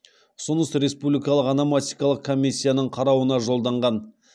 ұсыныс республикалық ономастикалық комиссияның қарауына жолданған